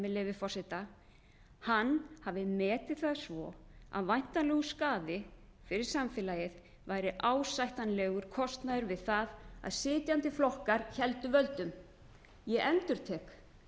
leyfi forseta hann hafi metið það svo að væntanlegur skaði fyrir samfélagið væri ásættanlegur kostnaður við það að sitjandi flokkar héldu völdum ég endurtek